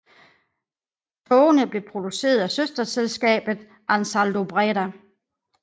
Togene blev produceret af søsterselskabet AnsaldoBreda